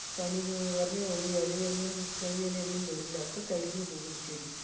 പനി വീഴാന്ന് പറഞ്ഞ ഒരു എലയൊന്നും തേയില്ലയൊന്നും വരില്ല. ഒക്കെ കരിഞ്ഞു പോകും ചെടി.